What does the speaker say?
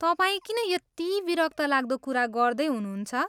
तपाईँ किन यति विरक्तलाग्दो कुरा गर्दै हुनुहुन्छ?